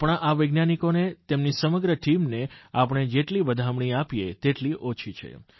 આપણા આ વૈજ્ઞાનિકોને તેમની સમગ્ર ટીમને આપણે જેટલી વધામણી આપીએ તેટલી ઓછી છે